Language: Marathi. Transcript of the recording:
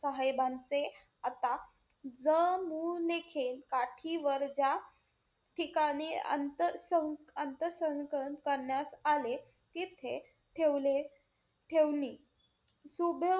साहेबांचे आता जमून काठीवर ज्या ठिकाणी अंत~अंतसंकर करण्यात आले, तिथे ठेवले~ ठेवणी सु,